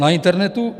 Na internetu?